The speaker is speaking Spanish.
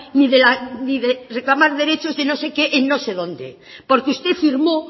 ni de reclamar derechos de no sé qué en no sé dónde porque usted firmó